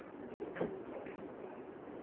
pholo